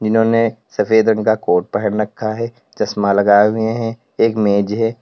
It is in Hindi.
जिन्होंने सफेद रंग का कोट पहन रखा है चश्मा लगाए हुए हैं एक मेज है।